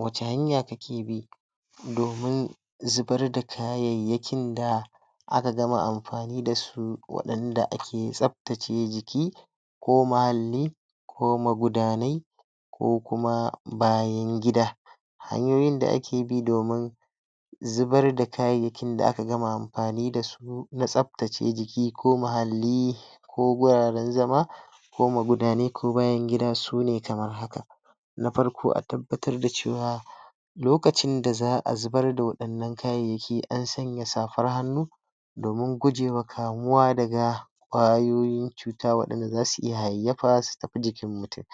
Wace hanya kake bi domin zubar da kayyayakin da aka gama amfani da su, wadanda ake tsaptace jiki ko mahalli, ko magudanai ko kuma bayan gida hanyoyin da ake bi domin zubar da kayyayakin da aka gama amfani da su na tsaptace jiki ko mahalli ko guraren zama ko magudanai ko bayan gida sune kamar haka. Na farko a tabbatar da cewa lokacin da za a zubar da wadannan kayyayaki an sanya safar hanu domin gujewan kamuwa da kwayoyin cuta wadanda za su iya aiyafa su tafi jikin mutum.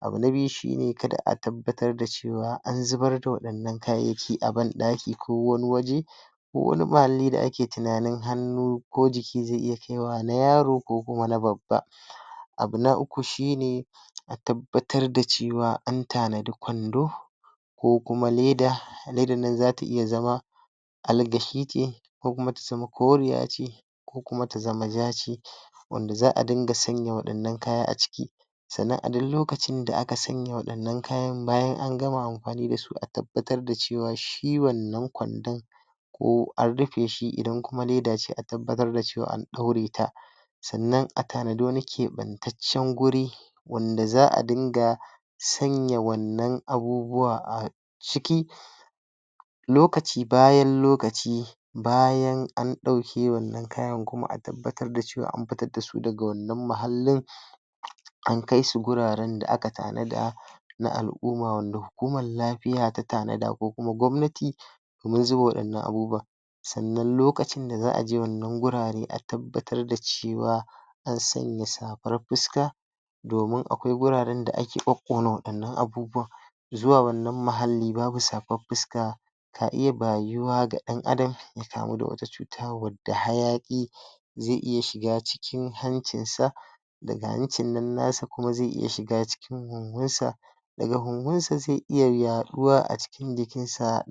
Abu na biyu shi ne kada a tabbatar da cewa an zubar da wannan kayyayaki aban daiki ko wane waje Ko wani mahalli da ake tunanin hanu ko jiki ze iya ya yaro ko kuma na babba. Abu na uku shi ne a tabbatar da cewa an tanadi kwando ko kuma leda ledan nan zata iya zama alagashi ce ko kuma ta zama ce ko kuma ta zama wanda za a dinga sanya wadannan kaya a ciki sannan a dai lokacin da aka sanya wadannan kayan bayan an gama amfani da su, a tabbatar da cewa shi wannan kwandon ko an rufe shi idan kuma leda ce, a tabbatar da cewa an daure ta sannan a tanada wani kebanttacen guri wanda za a dinga sanya wannan abubuwa a ciki lokaci bayan lokaci bayan an dauke wannan kayan a tabbatar da cewa daga wannan mahallin an kai su guraren da aka tanada na al'umma wanda hukuman lafiya ta tanada ko gwamnati domin zuwan wadannan abubuwan sannan lokacin da za a je wannan gurare a tabbatar da cewa an sanya safar fisca domin akwai guraren da ake kokkona wadannan abubuwan zuwa wannan muhali babu safan fusca ga dan adam cuta wadda hayaki ze iya shiga cikin hanjin sa daga hancin nan nasa, ze iya shiga cikin sa daga sa ze iya haduwa a cikin jikin sa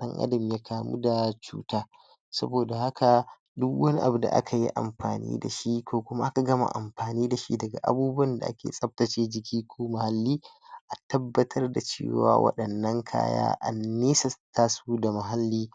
kamu da cuta saboda haka, duk wani abu da aka yi amfani da shi ko kuma aka gama amfani da shi daga abubuwan da ake tsaptace jiki ko mahalli a tabbatar da cewa ba wadannan kaya a su da mahalli